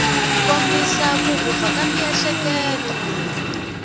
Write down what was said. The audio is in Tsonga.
kombisa ku vupfa ka miehleketo